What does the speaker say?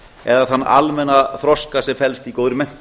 eða þann almenna þroska sem felst í góðri menntun